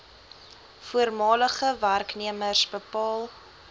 voormalige werknemers bepaal